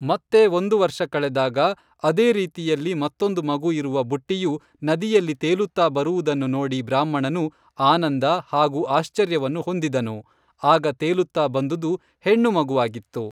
ಮತ್ತೆ ಒಂದು ವರ್ಷ ಕಳೆದಾಗ ಅದೇ ರೀತಿಯಲ್ಲಿ ಮತ್ತೊಂದು ಮಗು ಇರುವ ಬುಟ್ಟಿಯು ನದಿಯಲ್ಲಿ ತೇಲುತ್ತಾ ಬರುವುದನ್ನು ನೋಡಿ ಬ್ರಾಹ್ಮಣನು ಆನಂದ ಹಾಗೂ ಆಶ್ಚರ್ಯವನ್ನು ಹೊಂದಿದನು, ಆಗ ತೇಲುತ್ತಾ ಬಂದುದು ಹೆಣ್ಣುಮಗುವಾಗಿತ್ತು